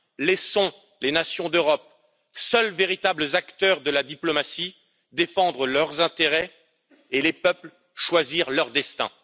Laissons les nations d'Europe, seuls véritables acteurs de la diplomatie, défendre leurs intérêts et les peuples, choisir leur destin.